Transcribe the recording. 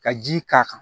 Ka ji k'a kan